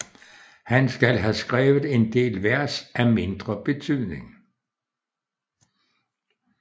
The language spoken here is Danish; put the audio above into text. Han skal have skrevet en del Vers af mindre betydning